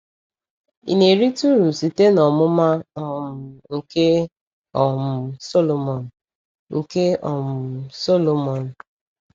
Ị na-erite uru site n’ọmụma um nke um Sọlọmọn? nke um Sọlọmọn?